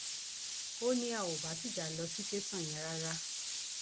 ó ní a ò bá tìjà lọ sí tẹsán yẹn rárá